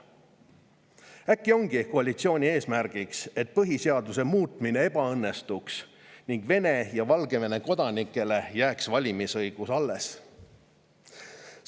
Äkki ongi koalitsiooni eesmärk, et põhiseaduse muutmine ebaõnnestuks ning Vene ja Valgevene kodanikele jääks valimisõigus alles?